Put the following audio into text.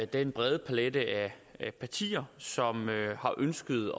den brede palet af partier som har ønsket